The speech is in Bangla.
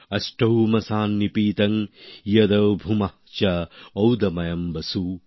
অষ্টৌ মাসান নিপীতং যদ ভুম্যাঃ চ ঔদময়ম বসু